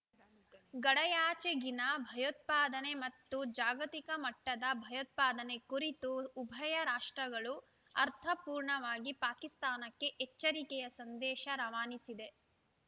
ಗಡಯಾಚೆಗಿನ ಭಯೋತ್ಪಾದನೆ ಮತ್ತು ಜಾಗತಿಕ ಮಟ್ಟದ ಭಯೋತ್ಪಾದನೆ ಕುರಿತು ಉಭಯ ರಾಷ್ಟ್ರಗಳು ಅರ್ಥಪೂರ್ಣವಾಗಿ ಪಾಕಿಸ್ತಾನಕ್ಕೆ ಎಚ್ಚರಿಕೆಯ ಸಂದೇಶ ರವಾನಿಸಿದೆ